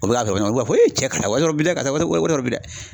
U bɛ ka wari ɲini k'a fɔ e cɛ ka taa wari bila ka taa wari bɔ yɔrɔ bi dɛ